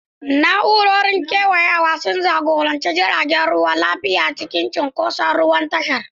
Na'urorin kewayawa sun jagoranci jiragen ruwa lafiya cikin cunkoson ruwan tashar.